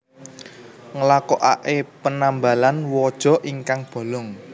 Nglakoake penambalan waja ingkang bolong